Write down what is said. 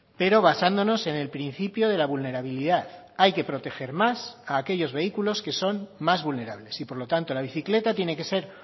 pero basándonos en el principio de la vulnerabilidad hay que proteger más a aquellos vehículos que son más vulnerables y por lo tanto la bicicleta tiene que ser